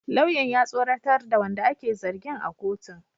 Lauyan ya tsoratar da wanda ake zargin a kotun